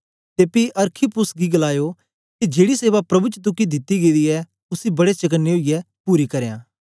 ते पी अरखिप्पुस गी गलायो के जेड़ी सेवा प्रभु च तुगी दित्ती गेदी ऐ उसी बड़े चकने ओईयै पूरा करयां